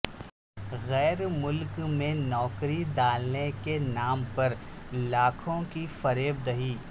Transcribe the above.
غیر ملک میں نوکری دلانے کے نام پر لاکھوں کی فریب د ہی